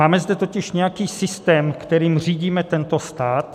Máme zde totiž nějaký systém, kterým řídíme tento stát.